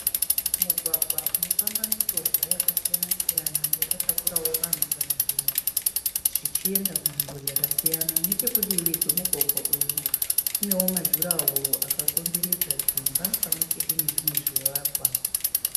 Mugwagwa unofamba michovha yakasiyana siyana yakatakurawo vanhu kana zvinhu, zvichienda kunzvimbo dzakasiyana. Nechekudivi kwemugwagwa uyu kunewo ma jura woro akakomberedza dzimba pamwechete nezvimwe zvivakwa.